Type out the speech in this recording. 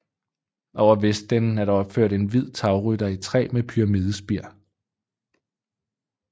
Over vestenden er der opført en hvid tagrytter i træ med pyramidespir